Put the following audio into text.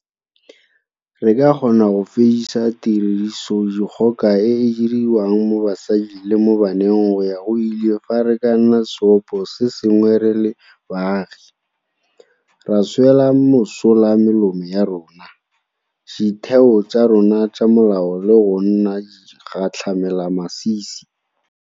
Re ka kgona go fedisa tirisodikgoka e e diriwang mo basading le mo baneng go ya go ile fa re ka nna seopo sengwe re le baagi, ra swela mosola melomo ya rona, ditheo tsa rona tsa molao le go nna digatlhamelamasisi.